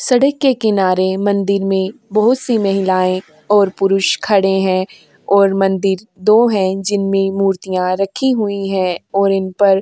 सड़क के किनारे मंदिर में बहोत सी महिलाएं और पुरुष खड़े हैं और मंदिर दो हैं जिनमें मूर्तियाँ रखी हुई हैं और इनपर --